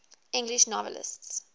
english novelists